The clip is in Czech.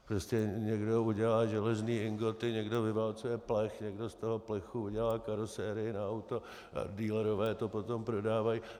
Prostě někdo udělá železné ingoty, někdo vyválcuje plech, někdo z toho plechu udělá karosérii na auto a dealerové to potom prodávají.